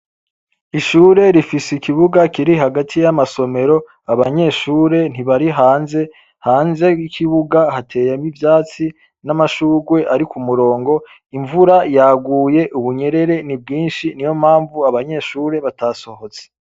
Ishure rifise ikibuga kiri hagati y'amasomero abanyeshure ntibari hanze hanze y'ikibuga hateyemwo ivyatsi n'amashurwe, ariko umurongo imvura yaguye ubunyerere ni bwinshi ni yo mamvu abanyeshure batasohotse.